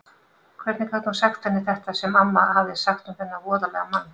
Hvernig gat hún sagt henni þetta sem amma hafði sagt um þennan voðalega mann?